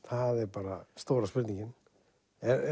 bara stóra spurningin